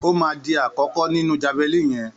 Ó má dí àkókó nínú jáválíní yen